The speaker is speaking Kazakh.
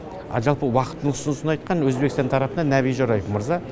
ал жалпы уақыттың ұсынысын айтқан өзбекстан тарапынан нәби жораев мырза